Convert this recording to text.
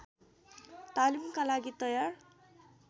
तालिमका लागि तयार